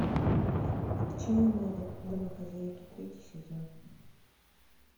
отчаянные домохозяйки третий сезон